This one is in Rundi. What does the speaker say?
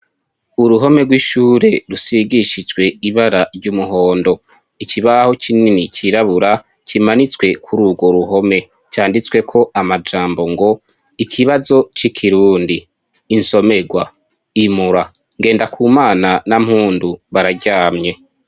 Uruhome rw'ishure rusigishijwe ibara ry'umuhondo ikibaho kinini k'irabura kimanitswe kururwo ruhome canditsweko amajambo ngo ikibazo c'ikirundi isomerwa imura NGENDAKUMANA na MPUNDU bararyamye.